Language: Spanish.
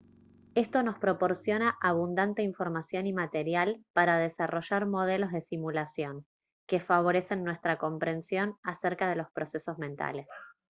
esto nos proporciona abundante información y material para desarrollar modelos de simulación que favorecen nuestra comprensión acerca de los procesos mentales